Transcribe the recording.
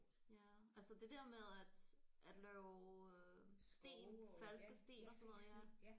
Ja altså det der med at at lave øh sten falske sten og sådan noget ja